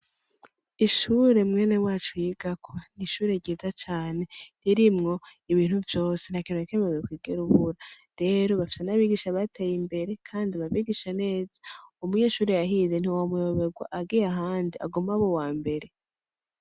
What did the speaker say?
Ishure mwene wacu yigako n’ishure ryiza cane ririmwo ibintu vyose ntakintu nakimwe wokwigera ubura rero bafise nabigisha bateye imbere kandi babigisha neza umunyeshure yahize ntiwomuyobegwa agiye ahandi aguma ab’ uwambere.